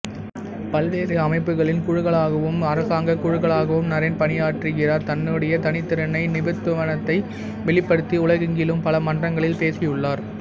பல்வேறு அமைப்புகளின் குழுக்களுக்காகவும் அரசாங்கக் குழுக்களுக்காகவும் நரேன் பணியாற்றுகிறார் தன்னுடைய தனித்திறனை நிபுணத்துவத்தை வெளிப்படுத்தி உலகெங்கிலும் பல மன்றங்களில் பேசியுள்ளார்